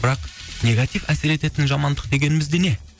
бірақ негатив әсер ететін жамандық дегеніміз не